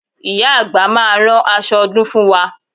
Ìyá àgbà máa rán aṣọ ọdún fún wa